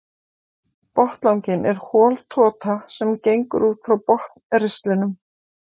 Botnlanginn er hol tota sem gengur út frá botnristlinum.